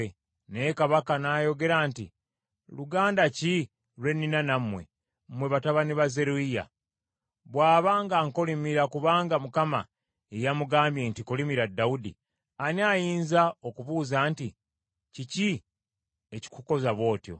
Naye kabaka n’ayogera nti, “Luganda ki lwe nnina nammwe, mmwe batabani ba Zeruyiya? Bw’aba ng’ankolimira kubanga Mukama ye yamugambye nti, ‘Kolimira Dawudi,’ ani ayinza okubuuza nti, ‘Kiki ekikukoza bw’otyo?’ ”